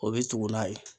O bɛ tugu n'a ye